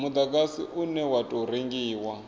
mudagasi une wa tou rengiwa